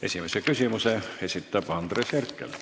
Esimese küsimuse esitab Andres Herkel.